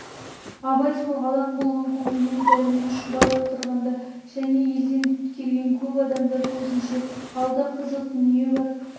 абай сол алаң болған көңілмен дәрмен шұбар отырғанда және елден келген көп адамдар көзінше алда қызық дүние бар